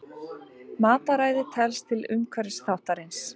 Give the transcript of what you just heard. Mataræði telst til umhverfisþáttarins.